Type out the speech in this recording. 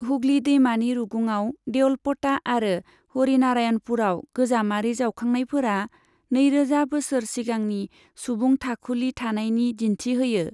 हुगली दैमानि रुगुंआव देउलप'टा आरो हरिनारायणपुराव गोजामारि जावखांनायफोरा नैरोजा बोसोर सिगांनि सुबुं थाखुलि थानायनि दिन्थि होयो।